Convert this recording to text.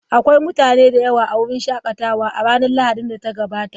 Akwai mutane da yawa a wurin shakatawa a ranar Lahadin da ta gabata.